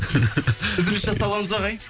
үзіліс жасап аламыз ба ағай